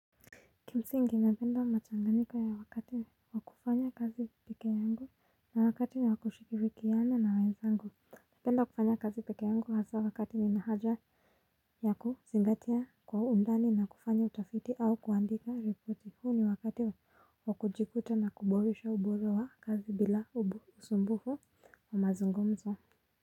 Kimsingi napenda machanganika ya wakati wakufanya kazi pekee yangu na wakati ni wakushirikiana na wenzangu napenda nakufanya kazi pekee yangu hasa wakati nina haja. Yakuzingatia kwa undani na kufanya utafiti au kuandika ripoti huu ni wakati wakujikuta na kuboresha ubolo wa kazi bila usumbufu wa mazungumzo.